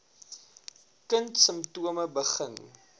kind simptome begin